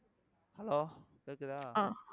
hello கேக்குதா